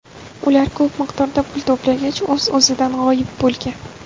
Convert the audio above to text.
Ular ko‘p miqdorda pul to‘plagach, o‘z-o‘zidan g‘oyib bo‘lgan.